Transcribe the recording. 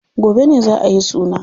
Gobe ne za ayi suna.